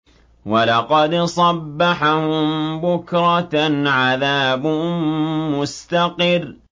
وَلَقَدْ صَبَّحَهُم بُكْرَةً عَذَابٌ مُّسْتَقِرٌّ